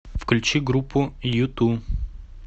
включи группу юту